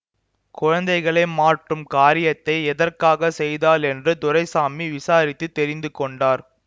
குழந்தைகளை மாற்றும் காரியத்தை எதற்காகச் செய்தாள் என்று துரைசாமி விசாரித்து தெரிந்து கொண்டார்